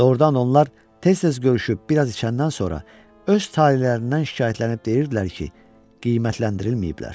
Doğrudan onlar tez-tez görüşüb bir az içəndən sonra öz talelərindən şikayətlənib deyirdilər ki, qiymətləndirilməyiblər.